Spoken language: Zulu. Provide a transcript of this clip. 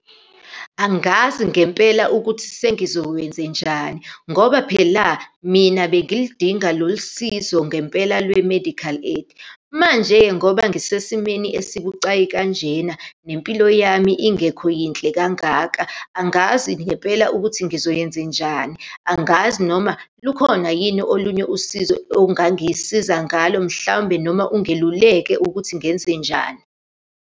Angazi ngempela ukuthi sengizowenzenjani, ngoba phela mina bengilidinga lolu sizo ngempela lwe-medical aid. Manje-ke ngoba ngisesimeni esibucayi kanjena, nempilo yami ingekho yinhle kangaka, angazi ngempela ukuthi ngizoyenzenjani, angazi noma lukhona yini olunye usizo ongangisiza ngalo, mhlawumbe noma ungiluleke ukuthi ngenzenjani.